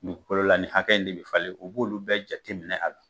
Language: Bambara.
Dugukolo la ni hakɛ in de bɛ falen, u b'olu bɛɛ jateminɛ a la.